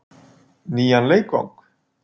Nýjan leikvang?